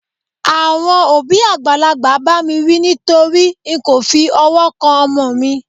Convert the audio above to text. àwọn òbí àgbàlagbà ba mi wí nitori n ko fi ọwọ kan ọmọ mi